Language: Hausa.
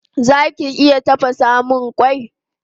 Zaki iya tafasamun mun kwai?